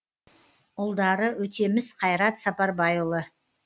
ұлдары өтеміс қайрат сапарбайұлы